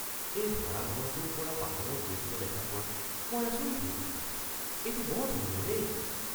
এই ভাৰাঘৰটোৰ পৰা পাহাৰৰ দৃশ্য দেখা পোৱাত মই আচৰিত হৈছোঁ। এইটো বৰ ধুনীয়া দেই!